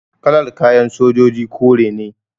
Kalar kayan sojoji kore ne